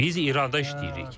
Biz İranda işləyirik.